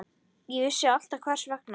Ég vissi alltaf hvers vegna.